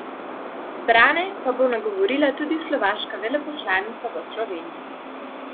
Zbrane pa bo nagovorila tudi slovaška veleposlanica v Sloveniji.